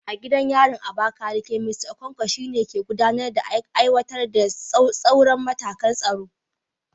A gidan yarin Abakaleke, Mista Okonkwo, shi ne ke gudanar da aiwatar da tsauraran matakan tsaro